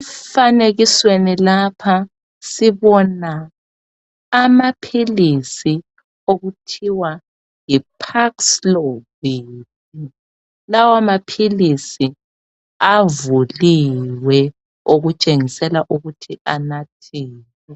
Emfanekisweni lapha sibona amaphilisi okuthiwa yiPAXLOVILO. Lamaphilisi avuliwe. Okutshengisela ukuthi anathiwe.